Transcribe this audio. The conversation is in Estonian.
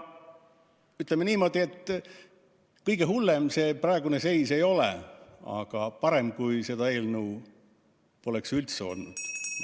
Ütleme niimoodi, et kõige hullem praegune seis ei ole, aga parem, kui seda eelnõu poleks üldse olnud.